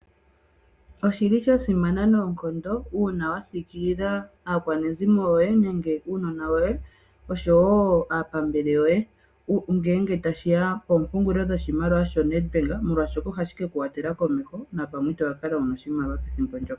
Oshili sha simana noonkondo uuna wa siikilila aakwanezimo yoye nenge uunona woye, osho woo aapambele yoye, ngeenge tashi ya kopungulilo yoNet bank molwaashoka ohashi ke ku wathela komeho napamwe ito ka kala wuna oshimaliwa pethimbo lyoka.